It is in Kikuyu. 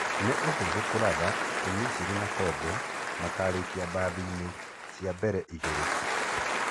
Nĩ ũhũthũ kũratha atĩ Misiri na Kongo makarĩkia bathiinĩ cia mbere igĩrĩ.